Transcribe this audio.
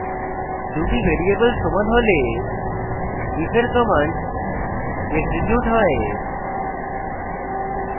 দুটি ভ্যারিয়েবল সমান হলে if এর commands এক্সিকিউট হয়